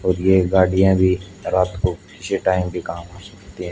और ये गाड़ियां भी रात को किसी टाइम भी काम आ सकती हैं।